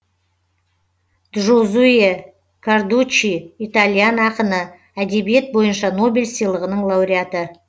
джозуэ кардуччи итальян ақыны әдебиет бойынша нобель сыйлығының лауреаты